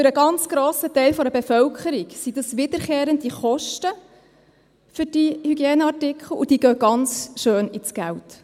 Für einen ganz grossen Teil der Bevölkerung sind das wiederkehrende Kosten für diese Hygieneartikel, und das geht ganz schön ins Geld.